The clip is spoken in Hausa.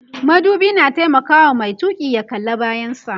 madubi na taimakawa Mai tuki ya kalla bayan sa